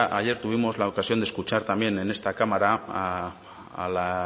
ayer tuvimos la ocasión de escuchar también en esta cámara a la